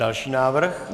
Další návrh.